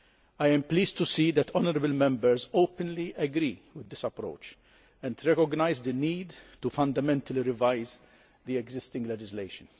I am pleased to see that honourable Members openly agree with this approach and recognise the need to fundamentally revise the existing legislation.